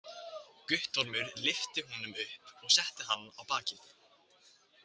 Guttormur lyfti honum upp og setti hann á bakið.